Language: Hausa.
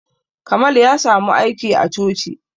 Kamal ya samu aiki a coci